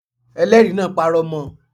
Elẹ́ẹ̀rí náà parọ́ mọ